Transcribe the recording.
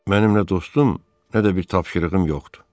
Mənim nə dostum, nə də bir tapşırığım yoxdur.